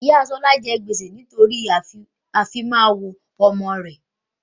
Ìyá Ṣọlá jẹ gbèsè nítorí ìfimawo ọmọ rẹ